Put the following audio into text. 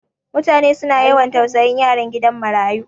Mutane su na yawan tausayin yaran gidan marayu.